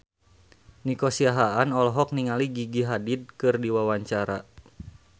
Nico Siahaan olohok ningali Gigi Hadid keur diwawancara